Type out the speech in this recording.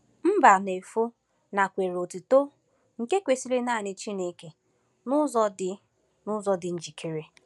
Mbanefo nakweere otuto nke kwesịrị nanị Chineke n’ụzọ dị n’ụzọ dị njikere.